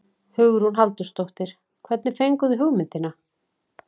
Hugrún Halldórsdóttir: Hvernig fenguð þið hugmyndina?